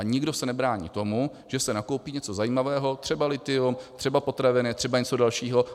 A nikdo se nebrání tomu, že se nakoupí něco zajímavého, třeba lithium, třeba potraviny, třeba něco dalšího.